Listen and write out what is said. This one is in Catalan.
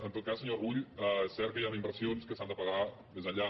en tot cas senyor rull cert que hi han inversions que s’han de pagar més enllà